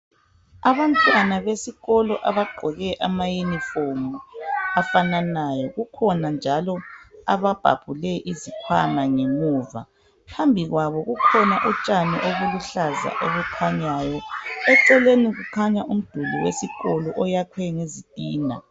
Abantwana besikolo abagqoke amaunifomu afananayo .Kukhona njalo ababhabhule izikhwama ngemuva ,phambi kwabo kukhona utshani obuluhlaza obukhanyayo eceleni kukhanya umduli wesikolo oyakhwe ngezitina .